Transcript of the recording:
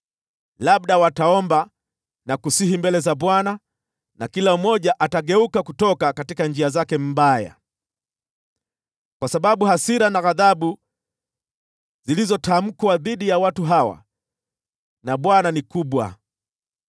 Labda wataomba na kusihi mbele za Bwana na kila mmoja akageuka kutoka njia zake mbaya, kwa sababu hasira na ghadhabu zilizotamkwa dhidi ya watu hawa na Bwana ni kubwa.”